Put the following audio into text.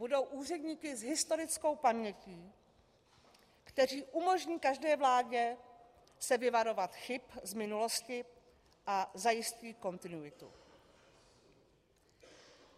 Budou úředníky s historickou pamětí, kteří umožní každé vládě se vyvarovat chyb z minulosti a zajistit kontinuitu.